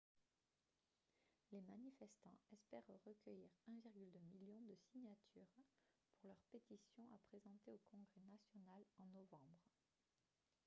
les manifestants espèrent recueillir 1,2 million de signatures pour leur pétition à présenter au congrès national en novembre